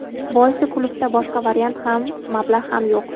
Boisi klubda boshqa variant ham, mablag‘ ham yo‘q.